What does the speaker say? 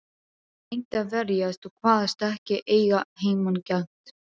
Ég reyndi að verjast og kvaðst ekki eiga heimangengt.